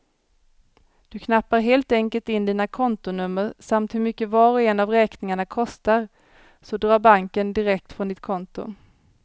Du knappar helt enkelt in dina kontonummer samt hur mycket var och en av räkningarna kostar, så drar banken direkt från ditt konto.